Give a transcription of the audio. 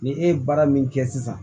Ni e ye baara min kɛ sisan